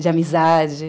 De amizade.